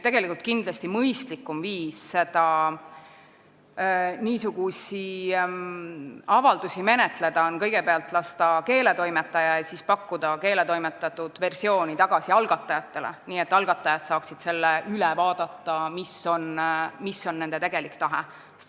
Kindlasti on mõistlikum niisuguseid avaldusi menetleda nii, et kõigepealt lasta see keeletoimetajal üle vaadata ja siis anda keeletoimetatud versioon tagasi algatajatele, et nad saaksid selle üle vaadata, kas seal on ikka kajastatud nende tegelikku tahet.